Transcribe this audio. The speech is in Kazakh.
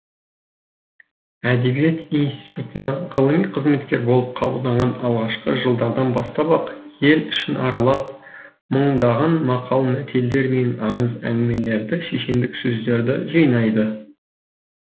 әдебиет институтына ғылыми қызметкер болып қабылданған алғашқы жылдардан бастап ақ ел ішін аралап мыңдаған мақал мәтелдер мен аңыз әңгімелерді шешендік сөздерді жинайды